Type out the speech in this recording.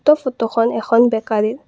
উক্ত ফটো খন এখন বেকাৰী ৰ।